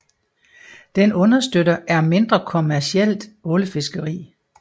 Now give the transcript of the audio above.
Den understøtter er mindre kommercielt ålefiskeri